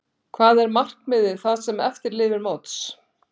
Hvað er markmiðið það sem eftir lifir móts?